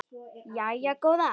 Jæja góða.